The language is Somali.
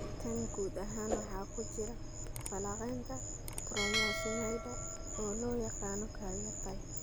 Tan guud ahaan waxaa ku jira falanqaynta koromosoomyada (oo loo yaqaan karyotype).